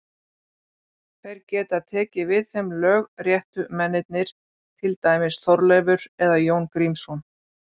Þeir geta tekið við þeim lögréttumennirnir, til dæmis Þorleifur eða Jón Grímsson.